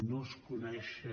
no es coneixen